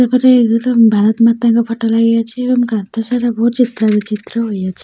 ସେପଟେ ଗୋଟେ ଭାରତ ମାତାଙ୍କ ଫଟୋ ଲାଗିଅଛି ଏବଂ କାନ୍ଥ ସାରା ବହୁ ଚିତ୍ର ବିଚିତ୍ର ହୋଇଅଛି।